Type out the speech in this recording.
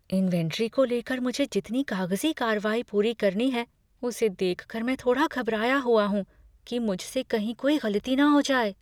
Inventory को लेकर मुझे जितनी कागजी कार्रवाई पूरी करनी है उसे देख कर मैं थोड़ा घबराया हुआ हूँ कि मुझसे कहीं कोई गलती न हो जाए।